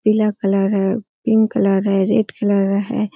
पीला कलर है pink colour है रेड कलर है ।